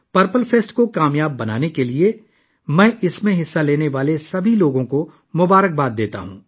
purple fest کو کامیاب بنانے کے لیے، میں اس میں حصہ لینے والے تمام لوگوں کو مبارکباد دیتا ہوں